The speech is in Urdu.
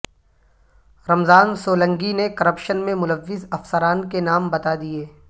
رمضان سولنگی نے کرپشن میں ملوث افسران کے نام بتا دیے